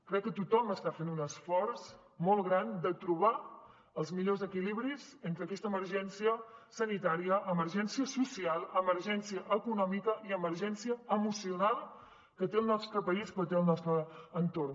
crec que tothom està fent un esforç molt gran per trobar els millors equilibris entre aquesta emergència sanitària emergència social emergència econòmica i emergència emocional que té el nostre país però que té el nostre entorn